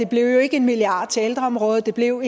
blev en milliard til ældreområdet det blev